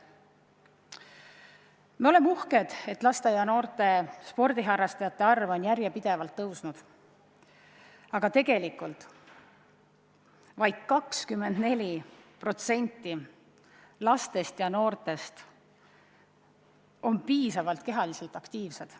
Me oleme uhked, et sporti tegevate laste ja noorte arv on järjepidevalt kasvanud, aga tegelikult vaid 24% lastest ja noortest on kehaliselt piisavalt aktiivsed.